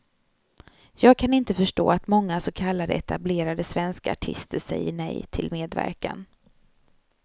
Jag kan inte förstå att många så kallade etablerade svenska artister säger nej til medverkan.